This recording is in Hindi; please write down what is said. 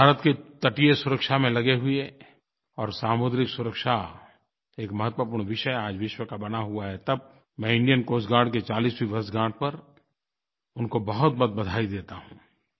भारत के तटीय सुरक्षा में लगे हुए और सामुद्रिक सुरक्षा एक महत्वपूर्ण विषय आज विश्व का बना हुआ है तब मैं इंडियन कोस्ट गार्ड के 40वीं वर्षगांठ पर उनको बहुतबहुत बधाई देता हूँ